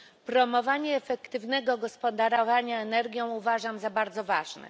Promowanie efektywnego gospodarowania energią uważam za bardzo ważne.